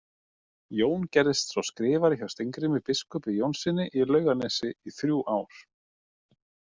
Jón gerðist svo skrifari hjá Steingrími biskupi Jónssyni í Laugarnesi í þrjú ár.